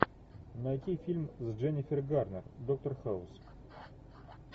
найти фильм с дженнифер гарнер доктор хаус